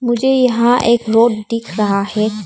मुझे यहां एक रोड दिख रहा है।